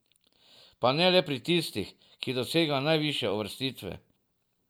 Pa ne le pri tistih, ki dosegajo najvišje uvrstitve.